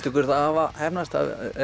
ykkur það hafa heppnast